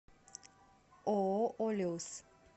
ооо олиус